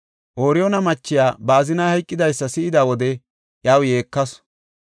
Ooriyoona machiya ba azinay hayqidaysa si7ida wode iyaw yeekasu.